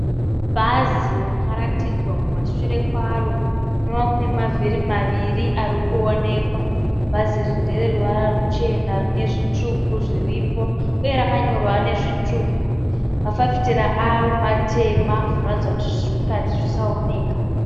Bhazi rakaratidzwa kumashure kwaro kunova kune mavhiri maviri ari kuonekwa . Bhazi iri ndere ruvara ruchena . Rine zvitsvuku zviripo uye rakanyorwa nezvitsvuku. Mafafitera aro matema , zvinoratidza kuti zviri mukati zvisaonekwa.